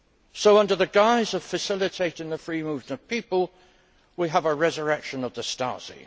So, under the guise of facilitating the free movement of people, we have a resurrection of the Stasi.